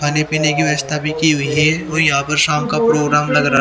पानी पीने की व्यवस्था भी की हुई है और कोई यहां पर शाम का प्रोग्राम लग रहा है।